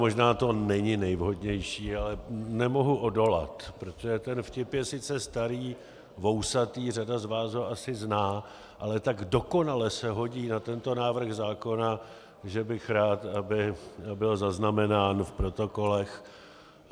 Možná to není nejvhodnější, ale nemohu odolat, protože ten vtip je sice starý, vousatý, řada z vás ho asi zná, ale tak dokonale se hodí na tento návrh zákona, že bych rád, aby byl zaznamenán v protokolech.